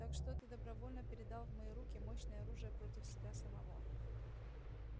так что ты добровольно передал в мои руки мощное оружие против себя самого